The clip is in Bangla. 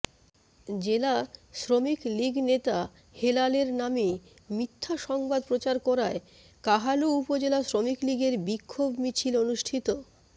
জেলা শ্রমিকলীগনেতা হেলাল এর নামে মিথ্যা সংবাদ প্রচার করায় কাহালু উপজেলা শ্রমিকলীগের বিক্ষোভ মিছিল অনুষ্ঠিত